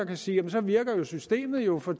vil sige jamen så virker systemet jo for